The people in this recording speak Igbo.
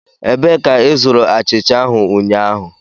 Ebee ka ịzụrụ achịcha ahụ ụnyaahụ?